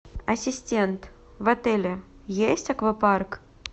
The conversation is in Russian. ассистент в отеле есть аквапарк